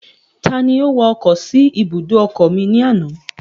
Ta ni ó wa ọkọ̀ sí ibùdó ọkọ̀ mi ní àná?